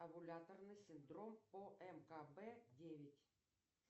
овуляторный синлдром омкб девять